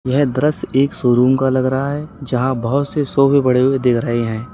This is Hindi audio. यह दृश्य एक सोरूम का लग रहा है जहां बहोत से सोफे पड़े हुए दिख रहे हैं।